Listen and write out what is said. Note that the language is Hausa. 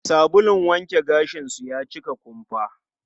Sabulun wanke gashin su ya cika kumfa.